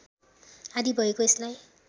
आदि भएकाले यसलाई